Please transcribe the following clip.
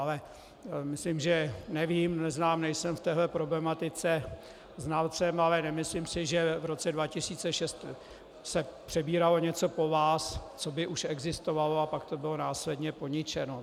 Ale myslím, že nevím, neznám, nejsem v této problematice znalcem, ale nemyslím si, že v roce 2006 se přebíralo něco po vás, co by už existovalo, a pak to bylo následně poničeno.